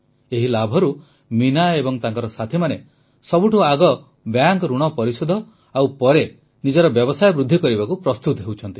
ଏହି ଲାଭରୁ ମୀନା ଏବଂ ତାଙ୍କ ସାଥୀମାନେ ସବୁଠୁ ଆଗ ବ୍ୟାଙ୍କ ଋଣ ପରିଶୋଧ ଓ ପରେ ନିଜର ବ୍ୟବସାୟ ବୃଦ୍ଧି କରିବାକୁ ପ୍ରସ୍ତୁତ ହେଉଛନ୍ତି